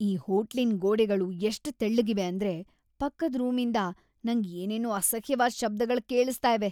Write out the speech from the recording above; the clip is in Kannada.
ಈ ಹೋಟ್ಲಿನ್ ಗೋಡೆಗಳು ಎಷ್ಟ್ ತೆಳ್ಳುಗಿವೆ ಅಂದ್ರೆ ಪಕ್ಕದ್ ರೂಮಿಂದ ನಂಗ್‌ ಏನೇನೋ ಅಸಹ್ಯವಾದ್ ಶಬ್ದಗಳ್ ಕೇಳಿಸ್ತಾ ಇವೆ.